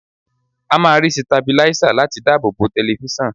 A máa ra sitabiláísà láti dábòbò tẹlifíṣàn.